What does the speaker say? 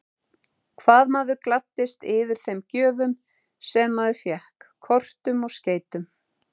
Hvað maður gladdist yfir þeim gjöfum sem maður fékk, kortum og skeytum!